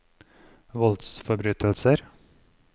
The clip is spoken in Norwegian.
voldsforbrytelser